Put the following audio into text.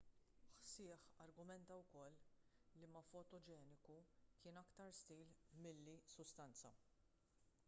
hsieh argumenta wkoll li ma fotogeniku kien aktar stil milli sustanza